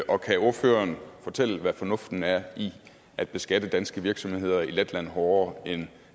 og kan ordføreren fortælle hvad fornuften er i at beskatte danske virksomheder i letland hårdere end